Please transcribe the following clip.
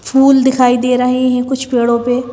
फूल दिखाई दे रहे हैं कुछ पेड़ों पे--